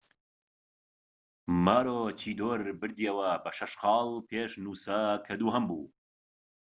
ماروچیدۆر بردیەوە بە شەش خاڵ پێش نووسا کە دووهەم بوو